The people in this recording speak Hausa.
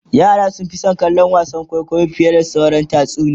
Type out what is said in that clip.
yara sun Fi San kallon wasan kwaikwayo fiye da sauraron tatsuniya